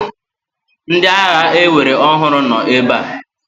Ndị agha ewere ọhụrụ nọ ebe a.